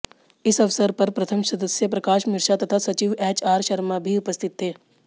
इस अवसर पर प्रथम सदस्य प्रकाश मिश्रा तथा सचिव एचआर शर्मा भी उपस्थित थे